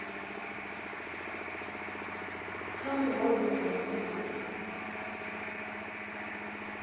kha muhwalo muṅwe na muṅwe